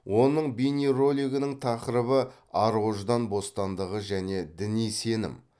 оның бейнеролигінің тақырыбы ар ождан бостандығы және діни сенім